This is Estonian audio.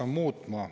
Mina hääletan vastu.